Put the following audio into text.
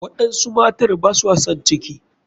Waɗansu matar baswa san ciki.